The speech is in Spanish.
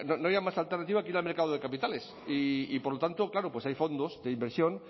no había más alternativa que ir al mercado de capitales y por lo tanto claro hay fondos de inversión